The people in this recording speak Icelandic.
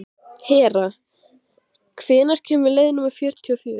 Hera, hvenær kemur leið númer fjörutíu og fjögur?